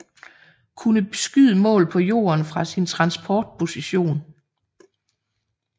Kunne beskyde mål på jorden fra sin transport position